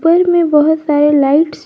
घर में बहुत सारे लाइट्स --